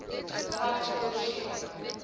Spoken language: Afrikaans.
tans oorsee